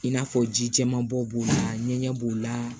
I n'a fɔ ji jɛman bo b'o la ɲɛgɛn b'o la